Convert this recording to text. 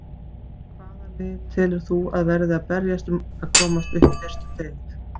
Hvaða lið telur þú að verði að berjast um að komast upp í fyrstu deild?